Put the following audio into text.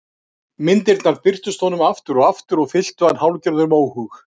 Myndirnar birtust honum aftur og aftur og fylltu hann hálfgerðum óhug.